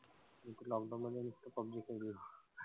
मी तर lockdown मध्ये नुसता पबजी खेळत होतो.